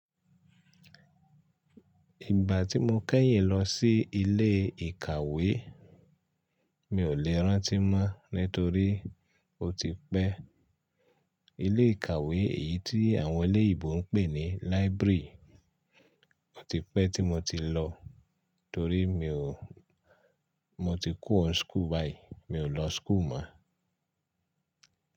Ìgbà tí mo kẹ́yìn lọ sí ilé ìkàwé, mi ò lè rántí mọ́ nítorí ó ti pẹ́. Ilé ìkàwé èyí tí àwọn oloyinbo ń pè ní library, ó ti pẹ́ tí mo ti lọ torí mo ti kúro n school bayii, mi ò lọ school mọ́.